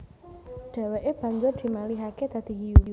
Dheweke banjur dimalihake dadi hiyu